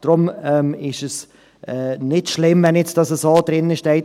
Deshalb ist es nicht schlimm, wenn das nun so drinsteht.